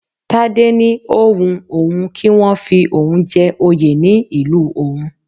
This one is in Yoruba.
Tádé ni ó wun òun kí wọ́n fi oun jẹ́ oyè ní ìlú òun